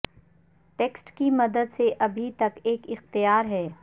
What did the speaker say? text کی مدد سے ابھی تک ایک اختیار ہے